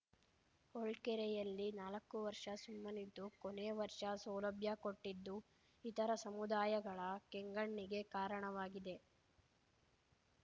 ಹೊಳ್ಕೆರೆಯಲ್ಲಿ ನಾಲಕ್ಕು ವರ್ಷ ಸುಮ್ಮನಿದ್ದು ಕೊನೆ ವರ್ಷ ಸೌಲಭ್ಯ ಕೊಟ್ಟಿದ್ದು ಇತರ ಸಮುದಾಯಗಳ ಕೆಂಗಣ್ಣಿಗೆ ಕಾರಣವಾಗಿದೆ